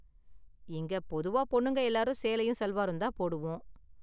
இங்க, பொதுவா பொண்ணுங்க எல்லாரும் சேலையும் சல்வாரும் தான் போடுவோம்.